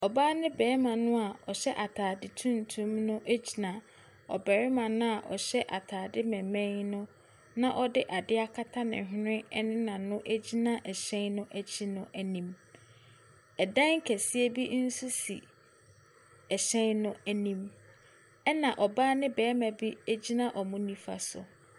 Ɔbaa ne barima no a ɔhyɛ atade tuntum no gyina ɔbarima no a ɔhyɛ atade mmemmen no, na ɔde adeɛ akata ne hwene ne n'ano gyina ɛhyɛn no agyi no anim. Ɛdan kɛseɛ bi nso si ɛhyɛn no anim, ɛna ɔbaa ne barima bi gyina wɔn nifa so.